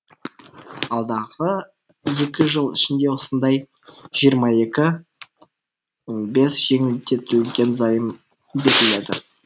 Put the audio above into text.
алдағы екі жыл ішінде осындай жиырма екі бес жеңілдетілген займ беріледі